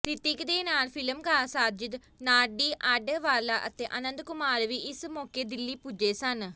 ਰਿਤਿਕ ਦੇ ਨਾਲ ਫਿਲਮਕਾਰ ਸਾਜਿਦ ਨਾਡੀਆਡਵਾਲਾ ਅਤੇ ਆਨੰਦ ਕੁਮਾਰ ਵੀ ਇਸ ਮੌਕੇ ਦਿੱਲੀ ਪੁੱਜੇ ਸਨ